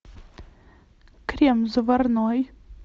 крем заварной